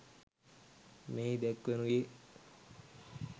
මෙහි දැක්වෙනුයේ